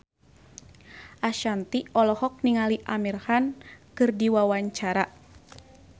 Ashanti olohok ningali Amir Khan keur diwawancara